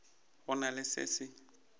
go na le se se